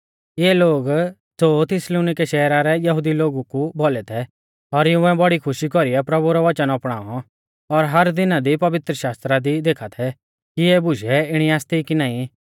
इऐ लोग ज़ो थिस्सलुनीके शहरा रै यहुदी लोगु कु भौलै थै और इउंऐ बड़ी खुशी कौरीऐ प्रभु रौ वचन अपणाऔ और हर दिना दी पवित्रशास्त्रा दी देखा थै कि इऐ बुशै इणी आसती कि नाईं